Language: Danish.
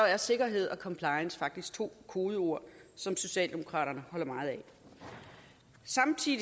er sikkerhed og compliance faktisk to kodeord som socialdemokraterne holder meget af samtidig